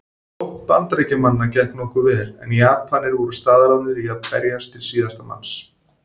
Sókn Bandaríkjamanna gekk nokkuð vel en Japanir voru staðráðnir í að berjast til síðasta manns.